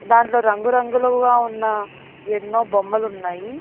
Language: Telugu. దాన్లో రంగురంగులుగా ఉన్నా ఎన్నో బొమ్మలు ఉన్నాయి.